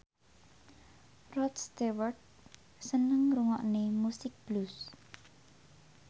Rod Stewart seneng ngrungokne musik blues